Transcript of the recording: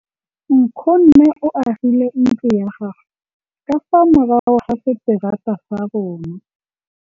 Nkgonne o agile ntlo ya gagwe ka fa morago ga seterata sa rona.